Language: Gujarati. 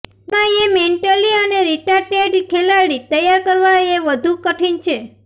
એમાં યે મેન્ટલી રીટાર્ડેડ ખેલાડી તૈયાર કરવા એ વધુ કઠિન છે